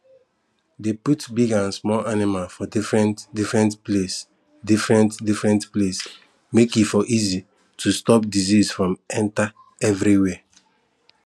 dey put big and small animal for different different place different different place make e for easy to stop disease from to enter everywhere